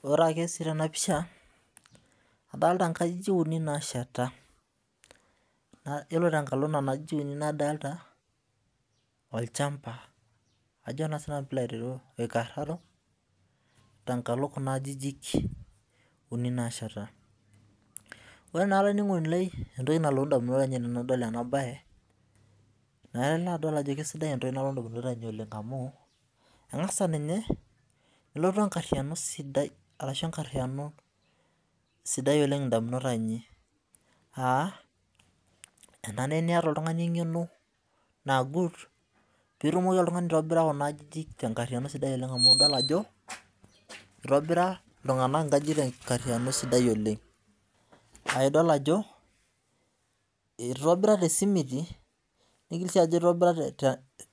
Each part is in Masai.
Ore ake si tenapisha adolita nkajijik unibnasheta ore tenkalo kuna ajijik unibadolta olchamba oikararo ore entoki nalotu ndamunot ainei tanadol enabae na ilo adol ajo Kesidai entoki nalotu ndamunot ainei amu kangasa ninye nelotu enkariano sidai ndamunot ainei enare niata oltungani engeno naagut pitumoki aitobira nkajijik tenkariano sidai idol ajo itobira tesimuti nigil si aaku itobira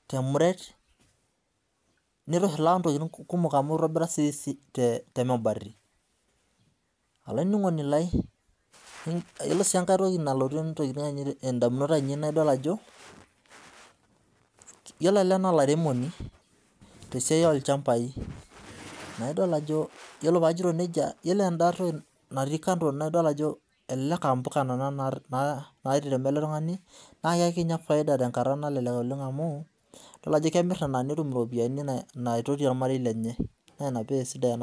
temuret nitobira sinye temuret olaininingoni lai ore enkai toki nalotu ndamunot ainei naidol ajo yiolo ele na olairemoni tesia olchambai na ore pajoito nenia yiolo enda too natii kando elelek aa mpuka nona nateremk oltungani na ekinya fiada oleng amu idol ajo kemir nona netum iropiyani naitotiye ornarei lenye naina pidol ajo